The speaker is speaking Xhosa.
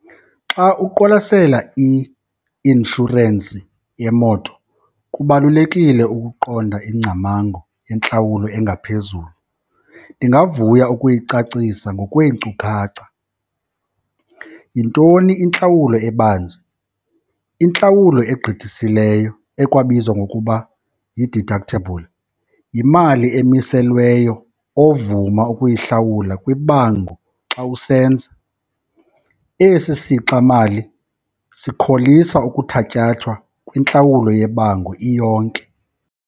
Xa uqwalasela i-inshorensi yemoto kubalulekile ukuqonda ingcamango yentlawulo engaphezulu. Ndingavuya ukuyicacisa ngokweenkcukacha. Yintoni intlawulo ebanzi? Intlawulo egqithisileyo ekwabizwa ngokuba yi-deductable yimali emiselweyo ovuma ukuyihlawula kwibango xa usenza. Esi sixamali sikholisa ukuthatyathwa kwintlawulo yebango iyonke.